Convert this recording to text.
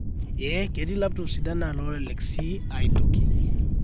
ee ketii laptops sidan naa loolelek sii aitoki